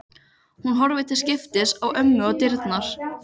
Hún horfir til skiptis á ömmu og dyrnar.